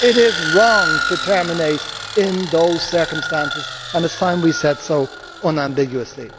It is wrong to terminate in those circumstances and it is time we said so unambiguously.